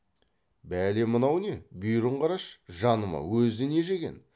бәле мынау не бүйірін қарашы жаным ау өзі не жеген